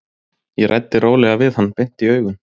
Ég ræddi rólega við hann, beint í augun.